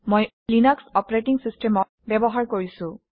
মই Linux operating system ব্যৱহাৰ কৰিছোঁ